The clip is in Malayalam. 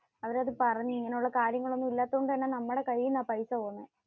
അവരോടു പറഞ്ഞു. ഇങ്ങനെ ഉള്ള കാര്യങ്ങളൊന്നും ഇല്ലാത്തതുകൊണ്ട് തന്നെ നമ്മുടെ കൈയിൽ നിന്നാണ് പൈസ പോകുന്നെ.